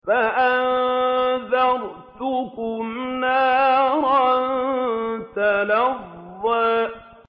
فَأَنذَرْتُكُمْ نَارًا تَلَظَّىٰ